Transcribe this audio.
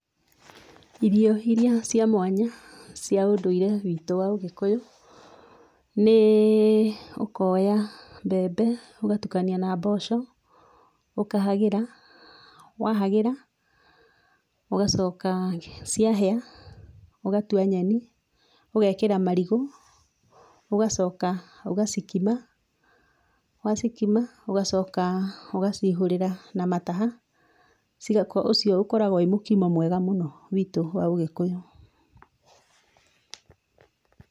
Irio iria cia mwanya cia ũndũire witũ wa ũgĩkũyũ, nĩ ũkoya mbembe ũgatukania na mboco ũkahagĩra, wahagĩra ũgacoka ciahĩa ũgatua nyeni, ũgekĩra marigũ ũgacoka ũgacikima, wacikima ũgacoka ũgacihũrĩra na mataha, ũcio ũkoragwo wĩ mũkimo mwega mũno witũ wa ũgĩkũyũ.